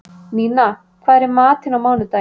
Nína, hvað er í matinn á mánudaginn?